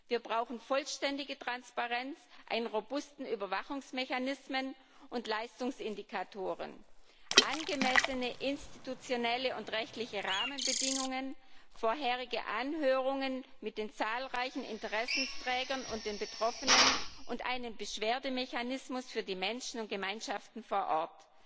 Wir brauchen vollständige Transparenz, robuste Überwachungsmechanismen und Leistungsindikatoren, angemessene institutionelle und rechtliche Rahmenbedingungen, vorherige Anhörungen mit den zahlreichen Interessenträgern und den Betroffenen und einen Beschwerdemechanismus für die Menschen und Gemeinschaften vor Ort.